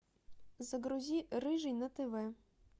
загрузи рыжий на тв